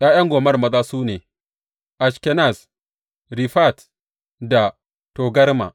’Ya’yan Gomer maza su ne, Ashkenaz, Rifat da Togarma.